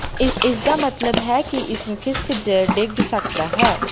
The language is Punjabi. ਇਸ ਦਾ ਮਤਲਬ ਹੈ ਕਿ ਇਸ ਨੂੰ ਖਿਸਕ ਜ ਡਿੱਗ ਸਕਦਾ ਹੈ